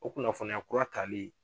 O kunnafoniya kura tali